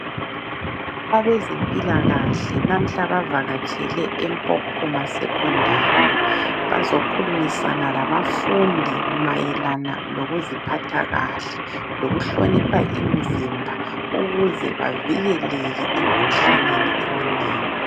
Abezempilakahle namuhla bazavatshele eMpopoma Secondary. Bazokhulumisana labafundi mayelana lokuziphatha kahle. Lokuhlonipha imizimba ukuze bavikeleke emikhuhlaneni eminengi.